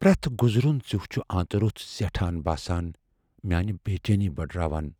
پریٚتھ گُزروُن ژِیٚوو چُھ ٲنتہٕ روٚس زیٹھان باسان میانہِ بےٚ چینی بڈراوان ۔